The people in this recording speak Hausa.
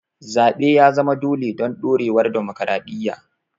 Zaɓe ya zama dole don ɗorewar dimokuradiyya.